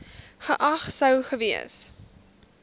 geag sou gewees